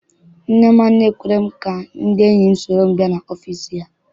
Nne m anaghị ekwe ka ndị enyi m soro m bịa n'ọfịịsi ya.